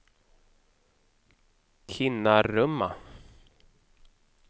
Kinnarumma